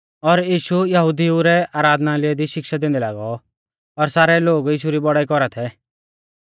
और यीशु यहुदिऊ रै आराधनालय दी शिक्षा दैंदै लागौ और सारै लोग यीशु री बौड़ाई कौरा थै